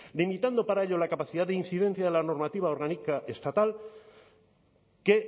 limitando para ello la capacidad de incidencia de la normativa orgánica estatal que